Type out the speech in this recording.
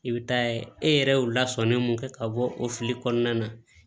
I bɛ taa ye e yɛrɛ y'u lasɔmin mun kɛ ka bɔ o fili kɔnɔna na